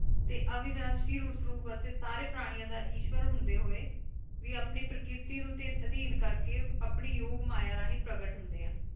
ਤੇ ਅਵਿਨਾਸ਼ੀ ਉਸ ਰੂਪ ਅਤੇ ਸਾਰੇ ਪ੍ਰਾਣੀਆਂ ਦਾ ਇਸ਼ਵਰ ਹੁੰਦੇ ਹੋਏ ਵੀ ਆਪਣੀ ਪ੍ਰਕਿਰਤੀ ਨੂੰ ਤੇ ਅਧਿਨ ਕਰਕੇ ਆਪਣੀ ਯੋਗ ਮਾਇਆ ਰਾਹੀਂ ਪ੍ਰਗਟ ਹੁੰਦੇ ਹੈਂ।